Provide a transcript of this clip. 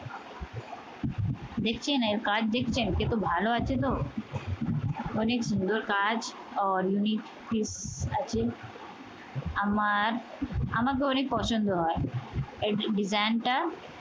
দেখছেন এর কাজ দেখছেন? ভালো আছে তো? অনেক সুন্দর কাজ আর unique piece আছে আমার আমাকে অনেক পছন্দ হয়। এর design টা